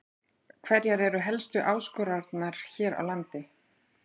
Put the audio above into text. Hverjar eru helstu áskoranirnar hér á landi?